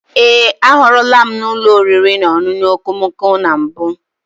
Ee, ahụrụla m n'ụlọ oriri na ọṅụṅụ okomoko na mbụ.